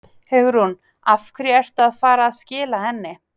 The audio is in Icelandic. Hugrún: Af hverju ertu að fara að skila henni?